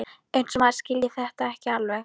Eins og maður skilji þetta ekki alveg!